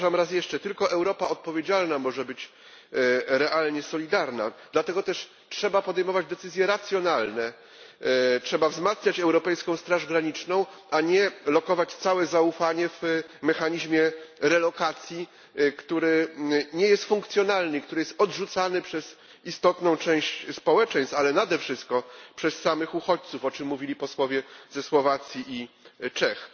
Powtarzam raz jeszcze tylko Europa odpowiedzialna może być realnie solidarna, dlatego też trzeba podejmować decyzje racjonalne trzeba wzmacniać europejską straż graniczną, a nie pokładać całe zaufanie w mechanizmie relokacji, który nie jest funkcjonalny, który jest odrzucany przez istotną część społeczeństw, a nade wszystko przez samych uchodźców, o czym mówili posłowie ze Słowacji i z Czech.